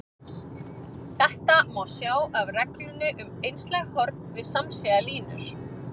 Þetta má sjá af reglunni um einslæg horn við samsíða línur.